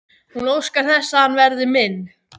Hún óskar þess að hann verði minn.